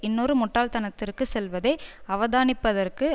இன்னொரு முட்டாள்த்தனத்திற்கு செல்வதை அவதானிப்பதற்கு